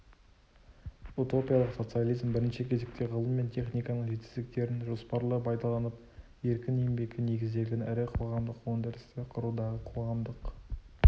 утопиялық социализм бірінші кезекте ғылым мен техниканың жетістіктерін жоспарлы пайдаланып еркін еңбекке негізделген ірі қоғамдық өндірісті құрудағы қоғамдық